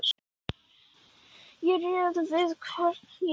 Ég ræð við hvern ég dansa,